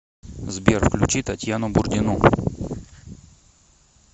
сбер включи татьяну бурдину